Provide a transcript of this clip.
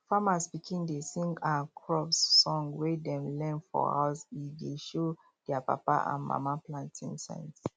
farmers pikin dey sing um crop song wey dem learn for house e dey show their papa and mama planting um sense